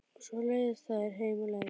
Og svo leiðast þær heim á leið.